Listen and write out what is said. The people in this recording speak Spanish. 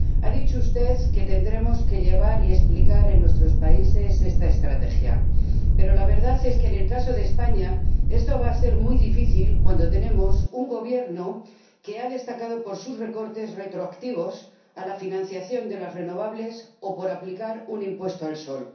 Ha dicho usted que tendremos que llevar a cabo y explicar en nuestros países esta estrategia, pero la verdad es que, en el caso de España, esto va a ser muy difícil cuando tenemos un Gobierno que ha destacado por sus recortes retroactivos a la financiación de las renovables o por aplicar un impuesto al sol